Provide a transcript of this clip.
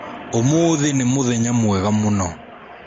ũmũthĩ nĩ mũthenya mwega mũno